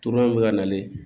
Turulen bɛ ka nalen